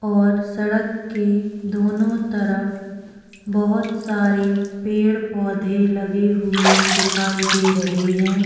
और सड़क के दोनों तरफ बहोत सारे पेड़-पौधे लगे हुए दिखाई दे रहे है और ऊपर आसमान दिखाई दे रहा है।